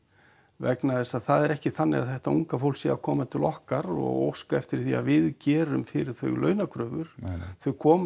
vegna þess að það er ekki þannig að þetta unga fólk sé að koma til okkar og óska eftir því að við gerum fyrir þau launakröfur þau koma